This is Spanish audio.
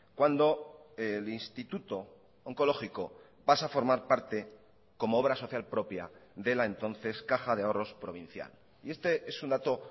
cuando el instituto oncológico pasa a formar parte como obra social propia de la entonces caja de ahorros provincial y este es un dato